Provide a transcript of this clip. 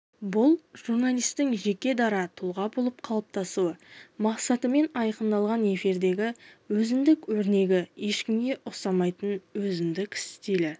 бұл журналистің жеке-дара тұлға болып қалыптасу мақсатымен айқындалатын эфирдегі өзіндік өрнегі ешкімге ұқсамайтын өзіндік стилі